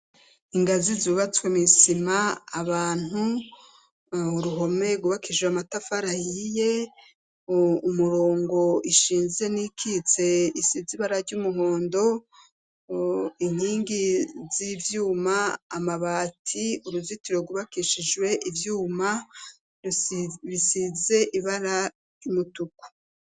Ingazi zubatswe misima abantu uruhome gubakishijwe amatafarahiye umurongo ishinze n'ikitse isi zibara ry'umuhondo inkingi z'ivyuma amabati uruzitiro gubakishijwe ivyumae bisize ibara ry'umutuku.